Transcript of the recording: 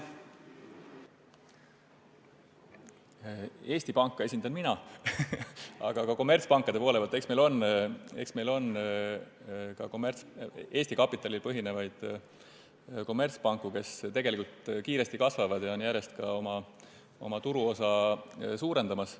Eesti Panka esindan mina, aga eks meil on ka kommertspankade hulgas Eesti kapitalil põhinevaid panku, kes tegelikult kasvavad kiiresti ja on ka oma turuosa järjest suurendamas.